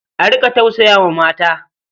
A riƙa tausaya wa mata.